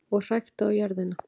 Og hrækti á jörðina.